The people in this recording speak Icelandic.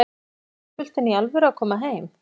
Er fótboltinn í alvöru að koma heim?